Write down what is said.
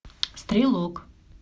стрелок